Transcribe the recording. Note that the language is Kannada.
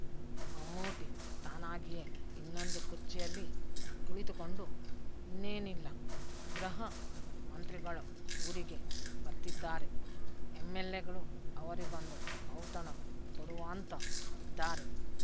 ಮಮ್ಮೂಟಿ ತಾನಾಗಿಯೇ ಇನ್ನೊಂದು ಕುರ್ಚಿಯಲ್ಲಿ ಕುಳಿತುಕೊಂಡು ಇನ್ನೇನಿಲ್ಲ ಗೃಹ ಮಂತ್ರಿಗಳು ಊರಿಗೆ ಬರ್ತಿದ್ದಾರೆ ಎಮ್ಮೆಲ್ಲೆಗಳು ಅವರಿಗೊಂದು ಔತಣ ಕೊಡುವಾಂತ ಇದ್ದಾರೆ